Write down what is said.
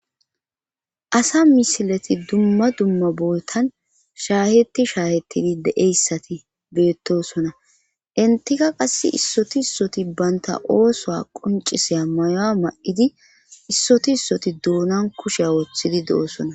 Asa misileti dumma dumma bootan shaahetti shaahettidi deeyssati beettosona intika qass issoti issoti baynta oosoa qonciseya mayoa ma7idi issoti issoti duunan kusheya wothidi de7osona.